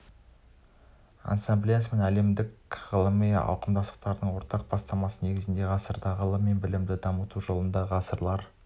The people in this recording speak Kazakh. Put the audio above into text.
ассамблеясы мен әлемдік ғылыми қауымдастықтың ортақ бастамасы негізінде ғасырда ғылым мен білімді дамыту жолында ғалымдар